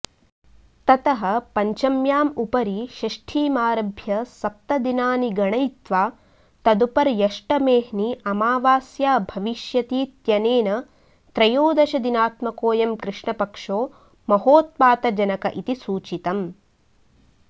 ततः पञ्चम्यां उपरि षष्ठीमारभ्य सप्तदिनानि गणयित्वा तदुपर्यष्टमेऽह्नि अमावास्या भविष्यतीत्यनेन त्रयोदशदिनात्मकोऽयं कृष्णपक्षो महोत्पातजनक इति सूचितम्